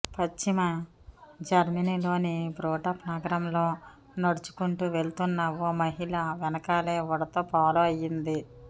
పశ్చిమ జర్మనీలోని బ్రోటాప్ నగరంలో నడుచుకుంటూ వెళ్తున్న ఓ మహిళా వెనకాలే ఉడత ఫాలో అయింది